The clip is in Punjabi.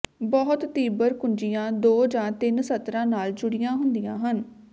ਬਹੁਤ ਤੀਬਰ ਕੁੰਜੀਆਂ ਦੋ ਜਾਂ ਤਿੰਨ ਸਤਰਾਂ ਨਾਲ ਜੁੜੀਆਂ ਹੁੰਦੀਆਂ ਹਨ